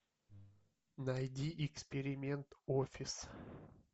найди эксперимент офис